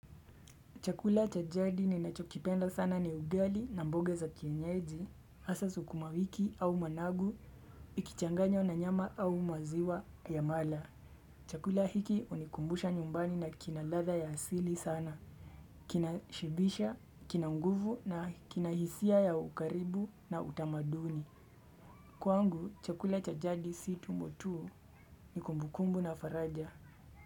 Chakula cha jadi ninachokipenda sana ni ugali na mboga za kienyeji, hasa sukumawiki au managu, ikichanganywa na nyama au maziwa ya mala. Chakula hiki hunikumbusha nyumbani na kina ladha ya asili sana. Kinashibisha, kina nguvu na kina hisia ya ukaribu na utamaduni. Kwangu, chakula cha jadi si tumbo tuu ni kumbukumbu na faraja.